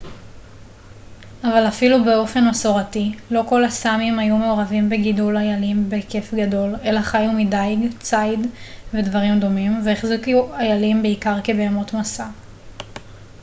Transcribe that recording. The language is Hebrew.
אבל אפילו באופן מסורתי לא כל הסאמים היו מעורבים בגידול איילים בהיקף גדול אלא חיו מדיג ציד ודברים דומים והחזיקו איילים בעיקר כבהמות משא